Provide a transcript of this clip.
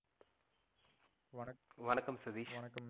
வணக்கம் சதீஷ்.